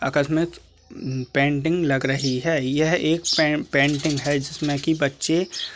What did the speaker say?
अकस में उ पेंटिंग लग रही है यह एक पे पेंटिंग है जिसमें की बच्चे --